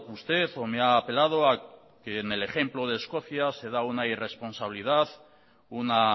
usted o me ha apelado a que en el ejemplo de escocia se da una irresponsabilidad una